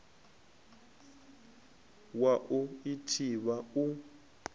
wa u i thivha u